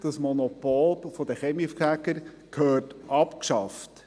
Das Monopol der Kaminfeger gehört abgeschafft.